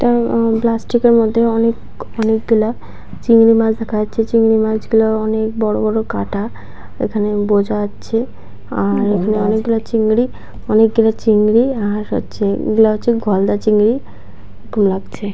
Plastic -এর মধ্যে অনেক অনেক গুলা চিংড়ি মাছ দেখা যাচ্ছে চিংড়ি মাছ গুলা অনেক বড় বড় কাটা এখানে বোঝা যাচ্চে আর অনেকগুলা চিংড়ি অনেকগুলো চিংড়ি আর হচ্ছে এগুলা হচ্ছে গলদা চিংড়ি লাগছে।